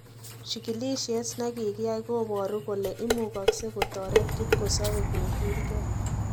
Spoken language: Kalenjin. Chikilisiet ne kikiyai kobaru kole imugaksei kotoret kipkosope kogilge